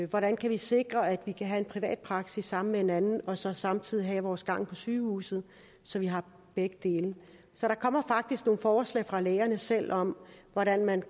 hvordan kan vi sikre at vi kan have en privat praksis sammen med en anden og så samtidig have vores gang på sygehuset så vi har begge dele så der kommer faktisk nogle forslag fra lægerne selv om hvordan man